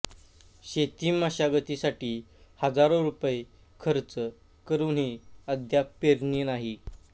शेती मशागतीसाठी हजारो रुपये खर्च करूनही अद्याप पेरणी नाही